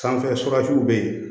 Sanfɛ bɛ yen